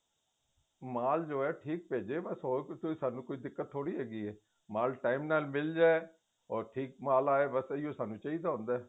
ਮਾਲ ਜੋ ਏ ਠੀਕ ਭੇਜੇ ਬੱਸ ਹੋਰ ਕੋਈ ਸਾਨੂੰ ਦਿੱਕਤ ਥੋੜੀ ਹੈਗੀ ਏ ਮਾਲ time ਨਾਲ ਮਿੱਲ ਜਾਏ ਔਰ ਠੀਕ ਮਾਲ ਆਏ ਬੱਸ ਏਹੀ ਸਾਨੂੰ ਚਾਹੀਦਾ ਹੁੰਦਾ